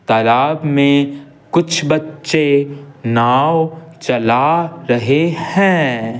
तालाब में कुछ बच्चे नाव चला रहे हैं।